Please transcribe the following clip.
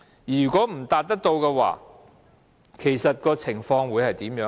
如果達不到的話，情況會怎樣？